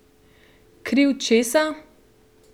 Kriv česa?